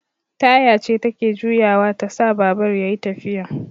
Taya ce take juyawa tasa babur yayi tafiya